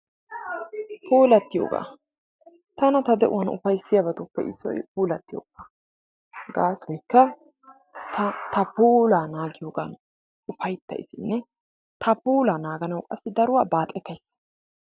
Puulattiyooga. Tana ta de"uwan ufayssiyabatuppe issoy puulattiyooga. Gaasoykka ta ta puulaa naagiyogan ufayttayisinne ta puulaa naaganawu qassi daruwa baaxetayis.